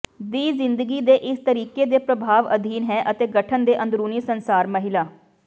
ਦੀ ਜ਼ਿੰਦਗੀ ਦੇ ਇਸ ਤਰੀਕੇ ਦੇ ਪ੍ਰਭਾਵ ਅਧੀਨ ਹੈ ਅਤੇ ਗਠਨ ਦੇ ਅੰਦਰੂਨੀ ਸੰਸਾਰ ਮਹਿਲਾ